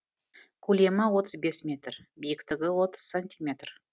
көлемі отыз бес метр биіктігі отыз сантиметр